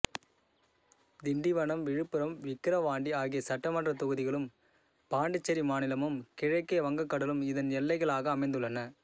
திண்டிவனம் விழுப்புரம் விக்கிரவாண்டி ஆகிய சட்டமன்றத் தொகுதிகளும் பாண்டிச்சேரி மாநிலமும் கிழக்கே வங்கக்கடலும் இதன் எல்லைகளாக அமைந்துள்ளன